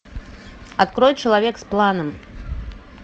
открой человек с планом